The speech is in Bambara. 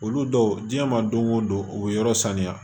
Olu dɔw diɲɛ ma don o don u bɛ yɔrɔ sanuya